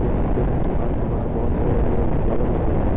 यहां पे दुकान के बाहर बहोत सारे रंग बिरंगे फ्लावर लगे हुए है।